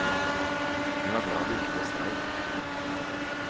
Hun var glad det ikke ble streik.